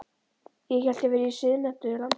Ég hélt ég væri í siðmenntuðu landi.